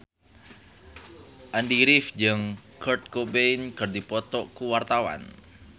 Andy rif jeung Kurt Cobain keur dipoto ku wartawan